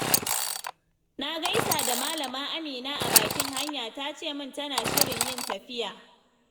Na gaisa da Malama Amina a bakin hanya, ta ce min tana shirin yin tafiya.